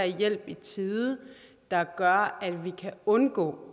hjælp i tide der gør at vi kan undgå